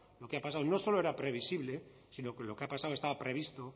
lo que ha pasado no solo era previsible sino que lo que ha pasado estaba previsto